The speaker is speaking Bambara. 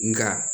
Nka